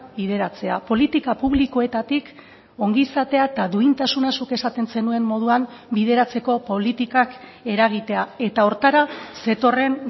bideratzea politika publikoetatik ongizatea eta duintasuna zuk esaten zenuen moduan bideratzeko politikak eragitea eta horretara zetorren